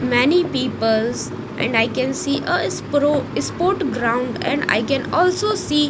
many peoples and i can see a sport ground and i can also see--